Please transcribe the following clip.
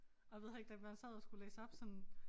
Og jeg ved heller ikke da man sad og skulle læse op sådan